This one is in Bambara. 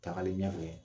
Tagalen ɲɛfɛ